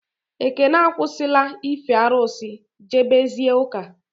Ekene akwụsị la ife arụsị, jebe zie ụka